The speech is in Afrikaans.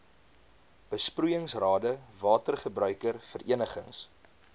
besproeiingsrade watergebruiker verenigings